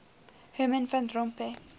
herman van rompuy